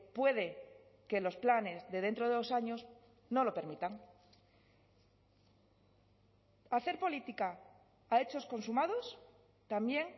puede que los planes de dentro de dos años no lo permitan hacer política a hechos consumados también